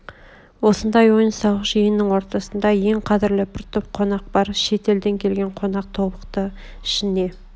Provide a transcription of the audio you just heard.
осындай ойын-сауық жиынның ортасында ең қадрлі бір топ қонақ бар шет елден келген қонақ тобықты ішіне